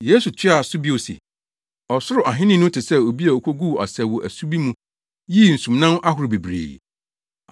Yesu toaa so bio se, “Ɔsoro Ahenni no te sɛ obi a okoguu asau wɔ asu bi mu yii nsumnam ahorow bebree.